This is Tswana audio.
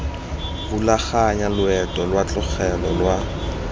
rulaganya loeto lwa katlego lwa